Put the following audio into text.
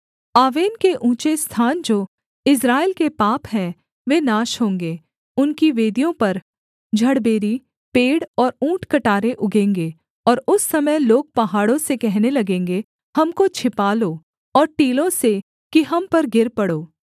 आवेन के ऊँचे स्थान जो इस्राएल के पाप हैं वे नाश होंगे उनकी वेदियों पर झड़बेरी पेड़ और ऊँटकटारे उगेंगे और उस समय लोग पहाड़ों से कहने लगेंगे हमको छिपा लो और टीलों से कि हम पर गिर पड़ो